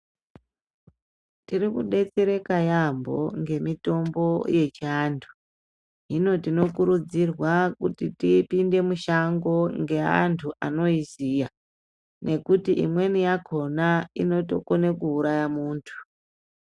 Tori kudetsereka yaambo ngemitombo yechiandu. Hino tinokurudzirwa kuti tipinde mushango ngeantu anoiziya nekuti imweni yakona inotokone kuuraya muntu.